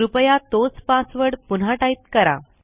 कृपया तोच पासवर्ड पुन्हा टाईप करा